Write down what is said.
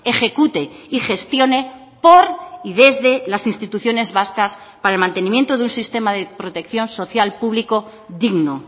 ejecute y gestione por y desde las instituciones vascas para el mantenimiento de un sistema de protección social público digno